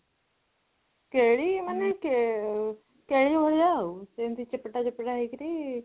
କେଳି ମାନେ କେଳି ଭଳିଆ ଆଉ ସେମିତି ଚେପେଟା ଚେପେଟା ହେଇକିରି